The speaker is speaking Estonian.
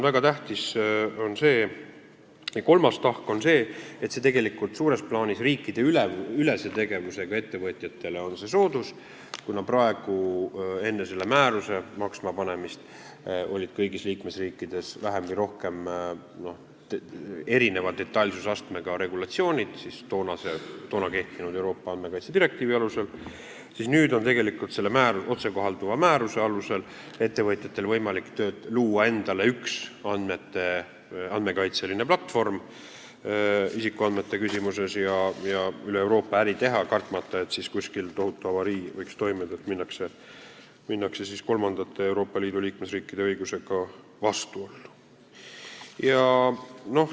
Väga tähtis, kolmas tahk on see, et suures plaanis on see riikideüleselt tegutsevatele ettevõtjatele soodus, kuna enne selle määruse kehtima hakkamist olid toona kehtinud Euroopa Liidu andmekaitsedirektiivi alusel kõigis liikmesriikides vähem või rohkem erineva detailsusastmega regulatsioonid, aga nüüd on selle otsekohalduva määruse alusel ettevõtjatel võimalik luua endale üks andmekaitseline platvorm isikuandmete küsimuses ja üle Euroopa äri teha, kartmata, et kuskil võiks toimuda tohutu avarii, sest minnakse kolmandate Euroopa Liidu liikmesriikide õigusega vastuollu.